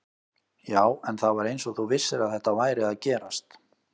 Já, en það var eins og þú vissir að þetta væri að gerast